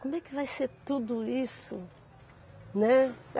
Como é que vai ser tudo isso? Né